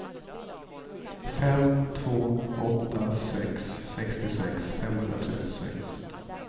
fem två åtta sex sextiosex femhundratrettiosex